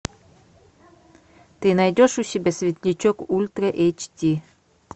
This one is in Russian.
ты найдешь у себя светлячок ультра эйч ди